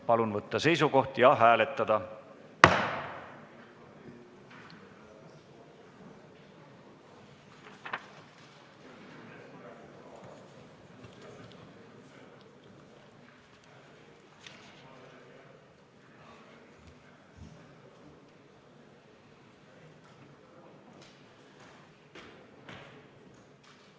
Palun võtta seisukoht ja hääletada!